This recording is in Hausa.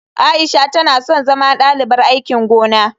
Aisha tana son zama dalibar aikin gona.